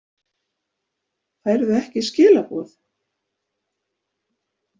Færðu ekki skilaboð?